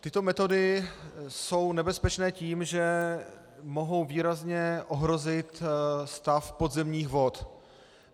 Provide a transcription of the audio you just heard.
Tyto metody jsou nebezpečné tím, že mohou výrazně ohrozit stav podzemních vod.